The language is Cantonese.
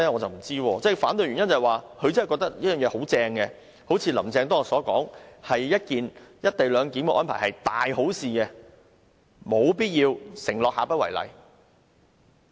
他們反對的原因是不是他們真的覺得這方案很好，正如"林鄭"當天說"一地兩檢"的安排是大好事，因而沒有必要承諾下不為例？